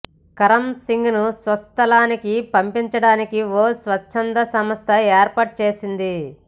కరమ్ సింగ్ను స్వస్థలానికి పంపించడానికి ఓ స్వచ్ఛంద సంస్థ ఏర్పాటు చేసింది